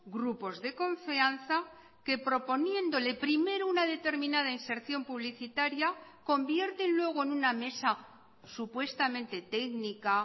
grupos de confianza que proponiéndole primero una determinada inserción publicitaria convierte luego en una mesa supuestamente técnica